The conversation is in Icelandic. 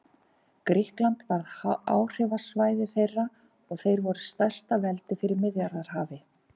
Grikkland varð áhrifasvæði þeirra og þeir voru stærsta veldi fyrir Miðjarðarhafi.